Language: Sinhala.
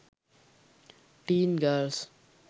teen girls